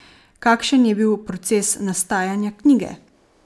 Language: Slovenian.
Kakšen je bil proces nastajanja knjige?